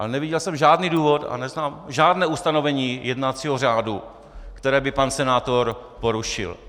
Ale neviděl jsem žádný důvod a neznám žádné ustanovení jednacího řádu, které by pan senátor porušil.